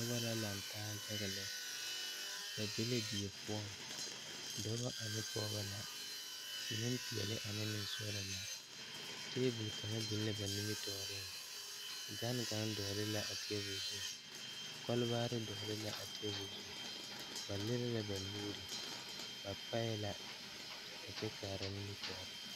Noba lantaa yaga la bebe dɔɔba ane pɔgeba kaa pɔge kaŋ su kpare doɔre kaa dɔɔ meŋ be a ba niŋe saŋ a su Gaana falakyɛ kpare a seɛ Gaana falakyɛ kuri ka o nu bonyene a biŋ teŋa kyɛ teɛ a nu kaŋa meŋ a dɔɔ maale la pata.